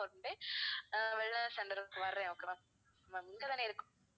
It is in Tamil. one day ah wellness center க்கு வாறேன் okay வா. ma'am இங்க தானே இருக்கு